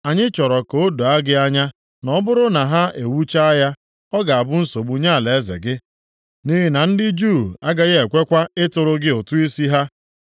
Anyị chọrọ ka o doo gị anya na ọ bụrụ na ha ewuchaa ya, ọ ga-abụ nsogbu nye alaeze gị, nʼihi na ndị Juu agaghị ekwekwa ịtụrụ gị ụtụ isi ha.